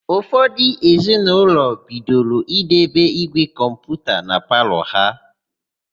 Ụfọdụ ezinaụlọ bidoro idebe ígwè kọmputa na palọ ha.